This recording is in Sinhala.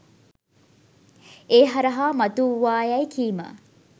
ඒ හරහා මතුවූවායැයි කීම